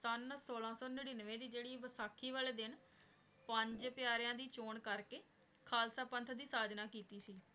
ਸਨ ਸੋਲਾਂ ਸੂ ਨੇਰਾਂਵਾਯ ਦੀ ਜੇਰੀ ਵਸਾਖੀ ਵਾਲੇ ਦਿਨ ਪੰਜ ਤ੍ਯਾਰ੍ਯਾਂ ਦੀ ਚੋਉਣ ਕਰ ਕੇ ਖਾਲਸਾ ਪੰਥ ਦੀ ਸਾੜਨਾ ਕੀਤੀ ਸੀ